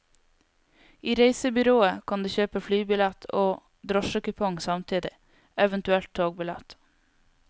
I reisebyrået kan du kjøpeflybillett og drosjekupong samtidig, eventuelt togbillett.